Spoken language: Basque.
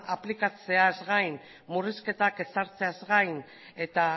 aplikatzeaz gain murrizketak ezartzeaz gain eta